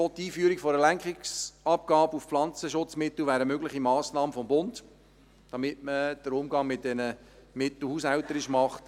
Auch die Einführung einer Lenkungsabgabe auf Pflanzenschutzmittel wäre eine mögliche Massnahme des Bundes, damit man den Umgang mit diesen Mitteln haushälterisch macht.